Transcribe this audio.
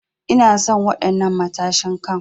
Ina son wadan'nan matashin Kai.